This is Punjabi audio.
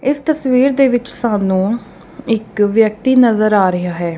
ਇਸ ਤਸਵੀਰ ਦੇ ਵਿੱਚ ਸਾਨੂੰ ਇੱਕ ਵਿਅਕਤੀ ਨਜ਼ਰ ਆ ਰਿਹਾ ਹੈ।